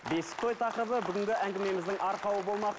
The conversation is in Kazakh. бесік той тақырыбы бүгінгі әңгімеміздің арқауы болмақ